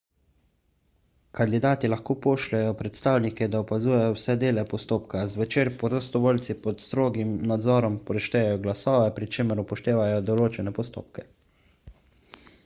kandidati lahko pošljejo predstavnike da opazujejo vse dele postopka zvečer prostovoljci pod strogim nadzorom preštejejo glasove pri čemer upoštevajo določene postopke